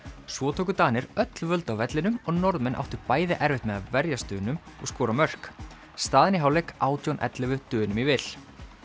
svo tóku Danir öll völd á vellinum og Norðmenn áttu bæði erfitt með að verjast Dönum og skora mörk staðan í hálfleik átján til ellefu Dönum í vil